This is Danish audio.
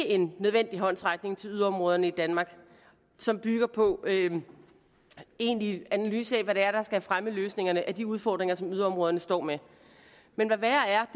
en nødvendig håndsrækning til yderområderne i danmark som bygger på en egentlig analyse af hvad det er der skal fremme løsningerne på de udfordringer som yderområderne står med men hvad værre er